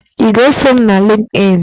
Ị ga-eso m na Lịnkịn?